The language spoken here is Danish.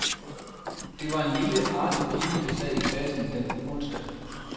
Det var en lille, artig pige, der sad i klassen den onsdag.